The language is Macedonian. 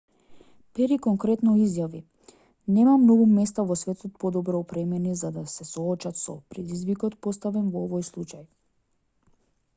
пери конкретно изјави нема многу места во светот подобро опремени да се соочат со предизвикот поставен во овој случај